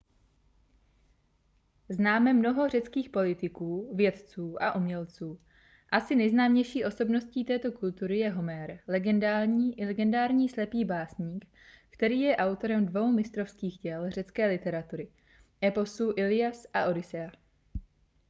známe mnoho řeckých politiků vědců a umělců asi nejznámější osobností této kultury je homér legendární slepý básník který je autorem dvou mistrovských děl řecké literatury eposů illias a odyssea